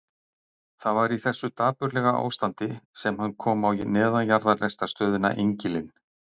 Það var í þessu dapurlega ástandi sem hann kom á neðanjarðarlestarstöðina Engilinn.